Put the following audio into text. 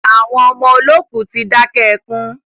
Àwọn ọmọ olókù tí dákẹ́ ẹkùn